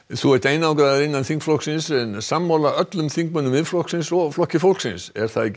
þú ert einangraður innan þingflokksins en sammála öllum þingmönnum Miðflokksins og Flokks fólksins er það ekki